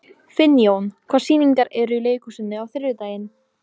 Finnjón, hvaða sýningar eru í leikhúsinu á þriðjudaginn?